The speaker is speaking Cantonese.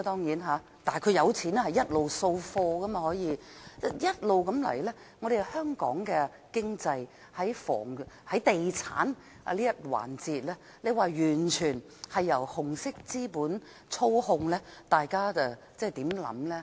如果一直是這樣的話，香港的經濟在地產這一環節便完全由紅色資本操控，大家對此有何想法呢？